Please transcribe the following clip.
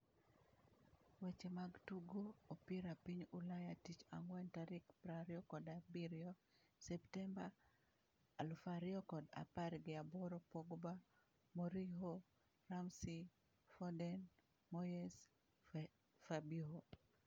Weche mag Tugo Opira Piny Ulaya Tich Ang'wen tarik prariyo kod abirio septemba alufariyo kod apar gi aboro Pogba, Mourinho, Ramsey, Foden, Moyes, Fabinho